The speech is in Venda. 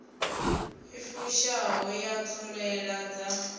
i fushaho ya ṱhoḓea dza